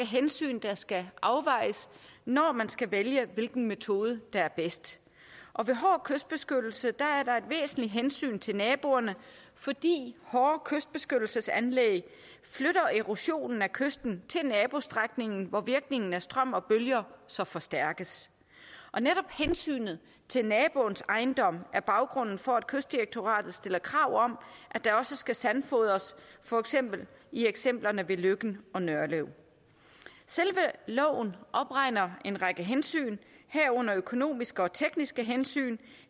hensyn der skal afvejes når man skal vælge hvilken metode der er bedst ved hård kystbeskyttelse er der et væsentligt hensyn til naboerne fordi hårde kystbeskyttelsesanlæg flytter erosionen af kysten til nabostrækningen hvor virkningen af strøm og bølger så forstærkes og netop hensynet til naboens ejendom er baggrunden for at kystdirektoratet stiller krav om at der også skal sandfodres for eksempel i eksemplerne ved løkken og nørlev selve loven opregner en række hensyn herunder økonomiske og tekniske hensyn